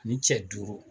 Ani cɛ duuru